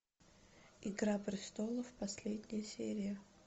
игра престолов последняя серия